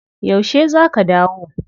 Yaushe za ka dawo?